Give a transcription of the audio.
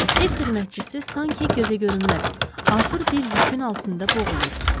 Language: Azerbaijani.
Ev xidmətçisi sanki gözəgörünməz, ağır bir yükün altında boğulurdu.